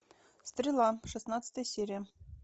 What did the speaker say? стрела шестнадцатая серия